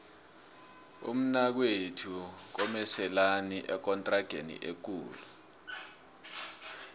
umnakwethu komeselani ekontrageni ekulu